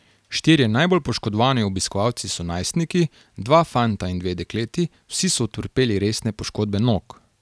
Štirje najbolj poškodovani obiskovalci so najstniki, dva fanta in dve dekleti, vsi so utrpeli resne poškodbe nog.